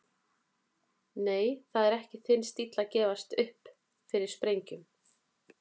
Nei, það er ekki þinn stíll að gefast upp fyrir sprengjum.